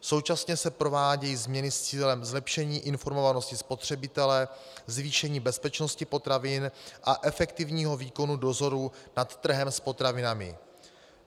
Současně se provádějí změny s cílem zlepšení informovanosti spotřebitele, zvýšení bezpečnosti potravin a efektivního výkonu dozoru nad trhem s potravinami.